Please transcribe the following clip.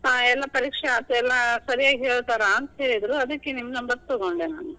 ಆ ಎಲ್ಲಾ ಪರೀಕ್ಷೆ ಆತು, ಎಲ್ಲಾ ಸರಿಯಾಗೇ ಹೇಳ್ತಾರ ಅಂತಾ ಹೇಳಿದ್ರು ಅದ್ಕ ನಿಮ್ number ತಗೊಂಡೆ ನಾನು.